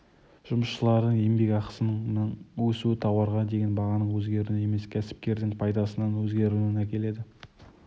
жұмысшылардың еңбекақысының өсуі тауарға деген бағаның өзгеруіне емес кәсіпкердің пайдасының өзгеруіне әкеледі